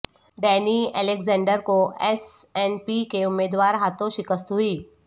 Danny Alexander کو S N P کے امیدوار ہاتھوں شکست ہوئی